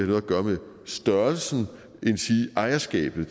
noget at gøre med størrelsen endsige ejerskabet